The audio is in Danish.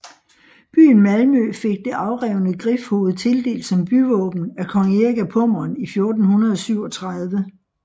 Byen Malmø fik det afrevne grifhoved tildelt som byvåben af kong Erik af Pommern i 1437